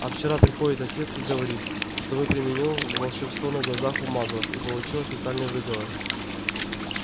а вчера приходит отец и говорит что вы применил волшебство на глазах у маглов и получил официальный выговор